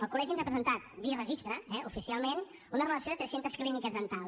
el col·legi ens ha presentat via registre eh oficialment una relació de tres cents clíniques dentals